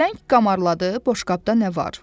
Pələng qamarladı, boşqabda nə var?